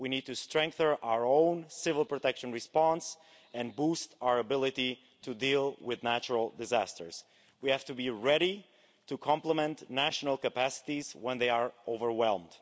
We need to strengthen our own civil protection response and boost our ability to deal with natural disasters. We have to be ready to complement national capacities when they are overwhelmed.